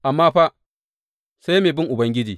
Amma fa, sai mai bin Ubangiji.